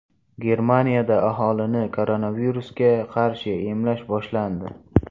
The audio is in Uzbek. Germaniyada aholini koronavirusga qarshi emlash boshlandi.